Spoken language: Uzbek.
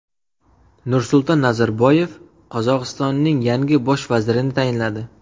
Nursulton Nazarboyev Qozog‘istonning yangi Bosh vazirini tayinladi.